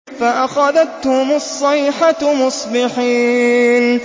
فَأَخَذَتْهُمُ الصَّيْحَةُ مُصْبِحِينَ